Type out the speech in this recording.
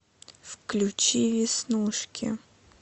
включи веснушки